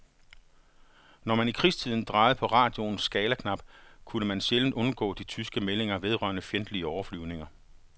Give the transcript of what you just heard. Når man i krigstiden drejede på radioens skalaknap, kunne man sjældent undgå de tyske meldinger vedrørende fjendtlige overflyvninger.